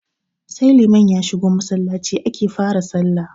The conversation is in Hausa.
Sai liman ya shigo Masallaci ake fa ra sallah